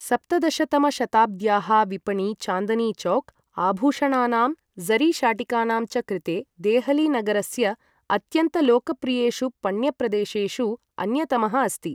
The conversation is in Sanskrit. सप्तदश तमशताब्द्याः विपणी चान्दनी चौक्, आभूषणानाम्, ज़री शाटिकानां च कृते देहलीनगरस्य अत्यन्तलोकप्रियेषु पण्यप्रदेशेषु अन्यतमः अस्ति।